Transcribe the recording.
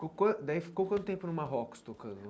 Ficou quan daí ficou quanto tempo no Marrocos tocando?